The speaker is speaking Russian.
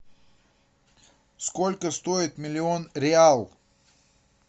сколько стоит миллион реал